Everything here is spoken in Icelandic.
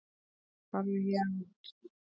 Farðu héðan út.